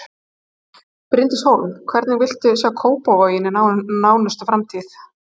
Bryndís Hólm: Hvernig viltu sjá Kópavog í nánustu framtíð?